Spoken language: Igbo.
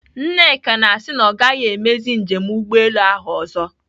Nneka na-asị na ọ gaghị emezi njem ụgbọelu ahụ ọzọ.